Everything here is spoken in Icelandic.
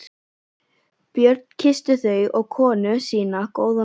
Björn kyssti þau og konu sína góða nótt.